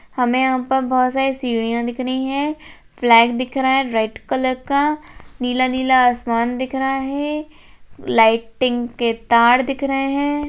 हमें यहाँ पर बहोत सारी सीढिया दिख रही है फ्लैग दिख रहा है रेड कलर का नीला नीला आसमान दिख रहा है लाइटिन के तार दिख रहे है।